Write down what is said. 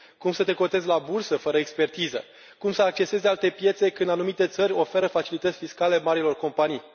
Cum să te cotezi la bursă fără expertiză? Cum să accesezi alte piețe când anumite țări oferă facilități fiscale marilor companii?